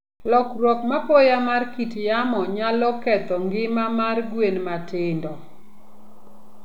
Lokruok mapoya mar kit yamo nyalo ketho ngima mar gwen matindo.